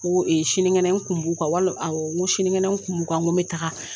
Ko sinikɛnɛ kun b'u kan, wali n ko sinikɛnɛ kun b'u kan, n ko bɛ taga.